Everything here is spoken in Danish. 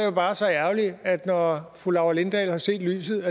jo bare så ærgerligt at når fru laura lindahl har set lyset